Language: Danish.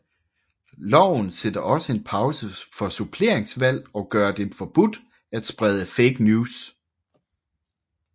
Loven sætter også en pause for suppleringsvalg og gør det forbudt at sprede fake news